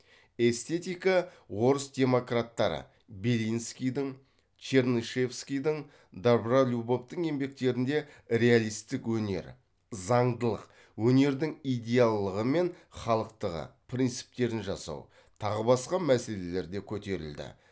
эстетика орыс демократтары белинскийдің чернышевскидің добролюбовтың еңбектерінде реалистік өнер заңдылық өнердің идеялылығы мен халықтығы принциптерін жасау тағы басқа мәселелерде көтерілді